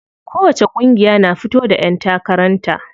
Kowacce ƙungiya na fito da ƴan takaran ta.